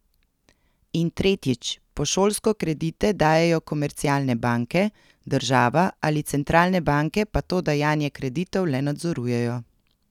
In tretjič, po šolsko kredite dajejo komercialne banke, država ali centralne banke pa to dajanje kreditov le nadzorujejo.